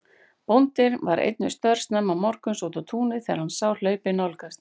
Bóndinn var einn við störf snemma morguns úti á túni þegar hann sá hlaupið nálgast.